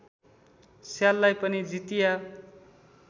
स्याललाई पनि जितिया